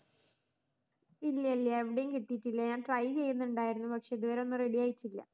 ഇല്ല ഇല്ല എവിടേം കിട്ടീട്ടില്ല ഞാൻ try ചെയുന്നുണ്ടായിരുന്നു പക്ഷെ ഇതുവരെ ഒന്നും ready ആയിട്ടില്ല